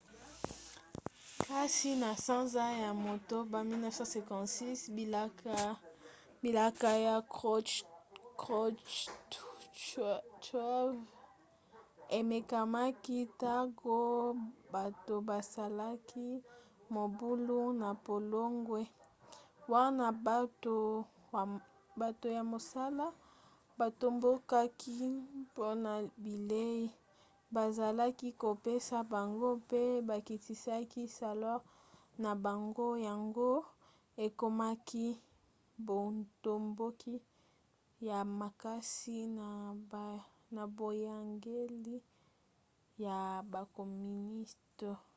kasi na sanza ya motoba 1956 bilaka ya krouchtchev emekamaki ntango bato basalaki mobulu na pologne wana bato ya mosala batombokaki mpona bilei bazalaki kopesa bango mpe bakitisaki salere na bango yango ekomaki botomboki ya makasi na boyangeli ya bakoministe